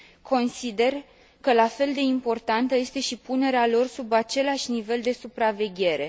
Consider că la fel de importantă este și punerea lor sub același nivel de supraveghere.